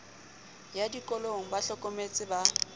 ya dikolong ba hlometse ba